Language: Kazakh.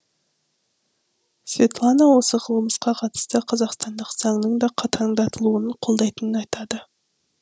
светлана осы қылмысқа қатысты қазақстандық заңның да қатаңдатылуын қолдайтынын айтады